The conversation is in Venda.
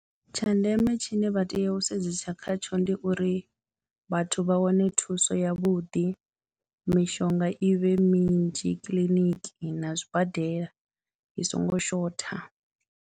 Tsha ndeme tshine vha tea u sedzesa khatsho ndi uri vhathu vha wane thuso yavhuḓi, mishonga i vhe minzhi kiḽiniki na zwibadela i songo shotha.